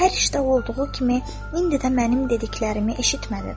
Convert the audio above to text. Hər işdə olduğu kimi indi də mənim dediklərimi eşitmədin.